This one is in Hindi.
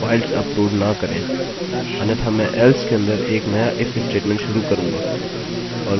और मैं यहाँ ब्लॉक बनाऊँगा